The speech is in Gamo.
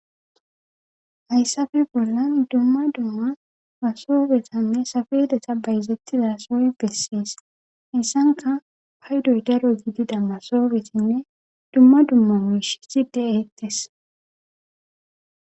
Hayssafe bollan dumma dumma masobetanne safedeta bayzettiza sooy bessees hayssanka paydoy daro gidida masobetinne dumma dumma wish side eetes.